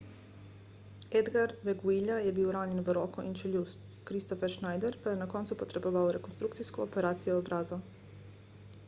edgar veguilla je bil ranjen v roko in čeljust kristoffer schneider pa je na koncu potreboval rekonstrukcijsko operacijo obraza